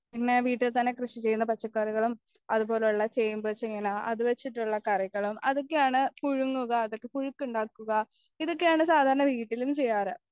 പിന്നെ ആ വീട്ടിൽ തന്നെ കൃഷിചെയ്യുന്ന പച്ചക്കറികളും അതുപോലെയുള്ള ചേമ്പ് ചേന അതുവെച്ചിട്ടുള കറികളും അതൊക്കെയാണ് പുഴുങ്ങുക അതൊക്കെ പുഴുക്കുണ്ടാക്കുക ഇതൊക്കെയാണ് സാദാരണ വീട്ടിലും ചെയ്യാറ്